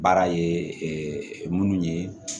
Baara ye minnu ye